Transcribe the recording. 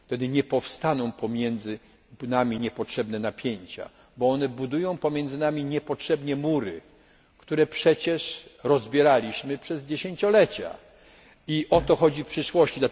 Wtedy nie powstaną pomiędzy nami niepotrzebne napięcia, bo one budują pomiędzy nami niepotrzebnie mury, które przecież rozbieraliśmy przez dziesięciolecia i o to chodzi w przyszłości.